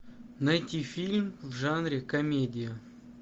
найти фильм в жанре комедия